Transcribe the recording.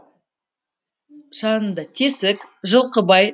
жанында тесік жылқыбай